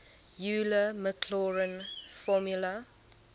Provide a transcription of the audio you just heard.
euler maclaurin formula